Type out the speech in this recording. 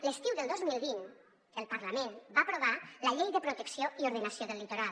l’estiu del dos mil vint el parlament va aprovar la llei de protecció i ordenació del litoral